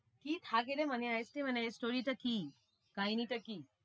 কি থাকে রে money heist এ মানে story টা কি? কাহিনিটা কি?